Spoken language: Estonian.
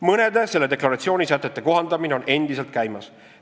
Mõnede selle deklaratsiooni sätete kohandamine on endiselt käimas.